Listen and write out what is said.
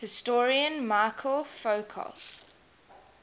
historian michel foucault